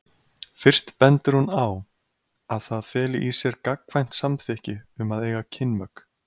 Fyrst bendir hún á að það feli í sér gagnkvæmt samþykki um að eiga kynmök.